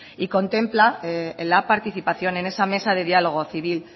y contempla que la participación en esa mesa de diálogo civil